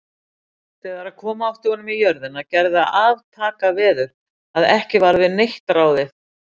Þegar koma átti honum í jörðina, gerði það aftakaveður, að ekki varð við neitt ráðið.